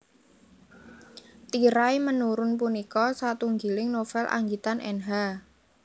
Tirai Menurun punika satunggiling novel anggitan Nh